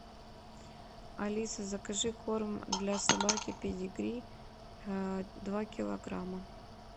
алиса закажи корм для собаки педигри два килограмма